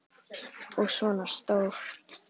Og svona stór!